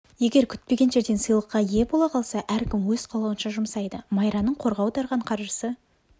егер күтпеген жерден сыйлыққа ие бола қалса әркім өз қалауынша жұмсайды майраның қорға аударған қаржысы